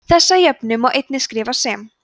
þessa jöfnu má einnig skrifa sem